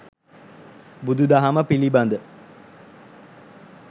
බුදු දහම පිළිබඳ